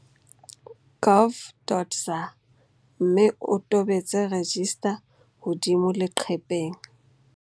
Gov.za mme o tobetse 'register' hodimo leqepheng.